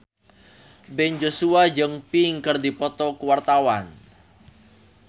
Ben Joshua jeung Pink keur dipoto ku wartawan